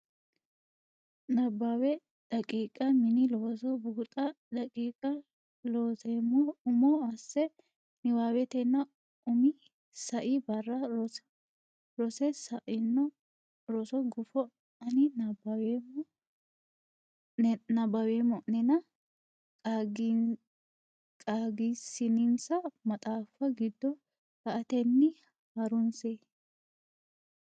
Nabbawa daqiiqa Mini Looso Buuxa daqiiqa Looseemmo umo asse niwaawennita umi sai barra rosse sa ino roso gufo ani nabbaweemma o nena qaagisinsa maxaafu giddo la atenni ha runse.